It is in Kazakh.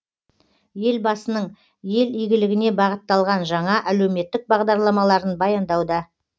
елбасының ел игілігіне бағытталған жаңа әлеуметтік бағдарламаларын баяндауда